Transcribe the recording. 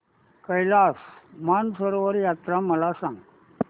कैलास मानसरोवर यात्रा मला सांग